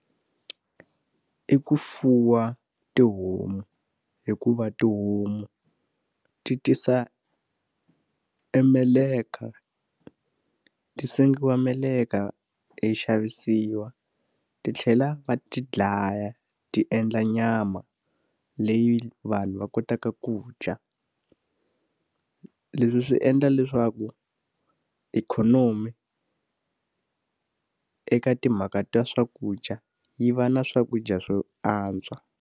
I ku fuwa tihomu hikuva tihomu ti tisa e meleka ti sengiwa meleka yi xavisiwa ti tlhela va ti dlaya, ti endla nyama leyi vanhu va kotaka ku dya. Leswi swi endla leswaku ikhonomi eka timhaka ta swakudya yi va na swakudya swo antswa.